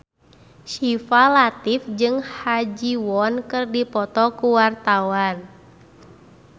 Syifa Latief jeung Ha Ji Won keur dipoto ku wartawan